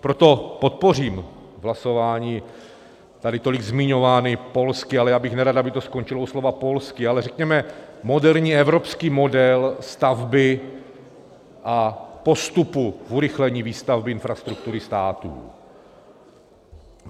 Proto podpořím hlasováním tady tolik zmiňovaný polský, ale já bych nerad, aby to skončilo u slova polský, ale řekněme moderní evropský model stavby a postupu k urychlení výstavby infrastruktury států.